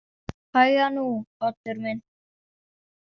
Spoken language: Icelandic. Hægan nú, Oddur minn.